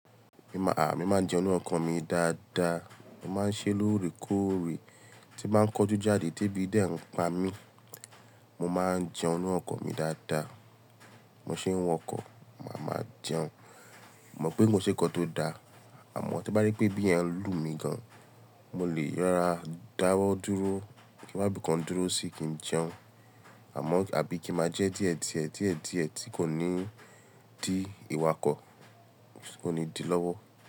À, mí máa ń jẹun ninu ọkọ̀ mi dáadáa, mo máa ń ṣe lóòrèkóòrè tí ń bá n kanjú jáde tí èbí dè ń pa mí. Mo máa ń jẹun ninu ọkọ̀ mi dáadáa, mo ṣe wo ọkọ̀, màá máa jẹun. Mò pé ko n se ǹkan tó da, àmọ́ to bá je pé ebí yen ń lùmí gan, mo lè rárá dáwọ́ dúró, kí wá bí kan dúró sí kí n jẹun. Àmọ́ àbí kí máa jẹ díẹ̀díẹ̀, díẹ̀díẹ̀ tí kò ní dí ìwà ọkọ̀, ti kò ní dí lọ́wọ́.